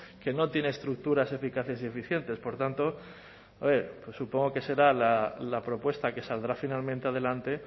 que no tiene estructuras eficaces y eficientes por tanto supongo que será la propuesta que saldrá finalmente adelante